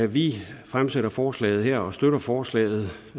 vi fremsætter forslaget her og støtter forslaget